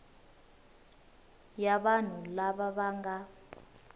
ya vanhu lava va nga